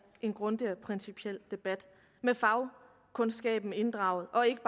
en grundig og principiel debat med inddragelse